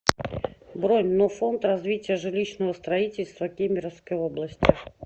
бронь но фонд развития жилищного строительства кемеровской области